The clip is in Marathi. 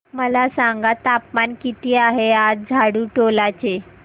मला सांगा तापमान किती आहे आज झाडुटोला चे